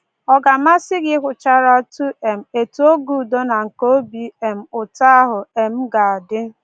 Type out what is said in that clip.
Ọ ga-amasị gị ịhụcharatụ um etu oge udo na nke obi um ụtọ ahụ um ga-adị?